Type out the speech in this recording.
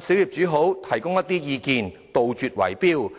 小業主提供一些意見，杜絕圍標。